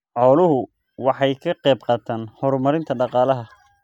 Xooluhu waxay ka qayb qaataan horumarinta dhaqaalaha.